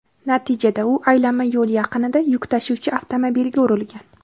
natijada u aylanma yo‘l yaqinida yuk tashuvchi avtomobilga urilgan.